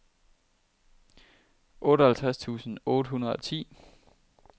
otteoghalvtreds tusind otte hundrede og ti